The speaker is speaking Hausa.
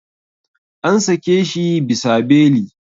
An sake shi bisa beli.